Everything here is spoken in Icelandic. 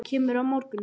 Kemurðu á morgun?